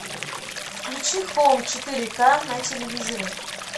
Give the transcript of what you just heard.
включи хоум четыре к на телевизоре